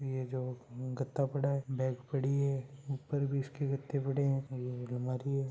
ये जो गत्ता पड़ा है बैग पड़ी है ऊपर भी इसके गत्ते पड़े है एक अलमारी है।